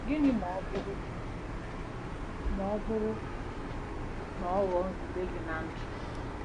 Gịnị ma ọ bụrụ ọ bụrụ na ọ ghọọ nzube gị ná ndụ?